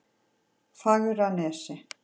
Fagranesi